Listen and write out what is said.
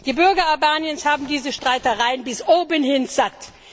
Die Bürger Albaniens haben diese Streitereien bis obenhin satt.